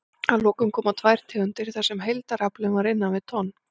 Að lokum koma tvær tegundir þar sem heildaraflinn var innan við tonn.